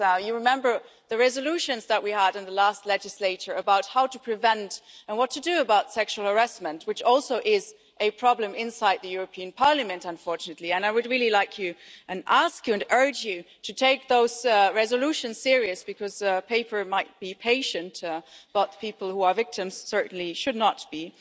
You remember the resolutions that we had in the last legislature about how to prevent and what to do about sexual harassment, which is also a problem inside the European Parliament, unfortunately. I ask you and urge you to take those resolutions seriously, because people might be patient but people who are victims certainly should not be.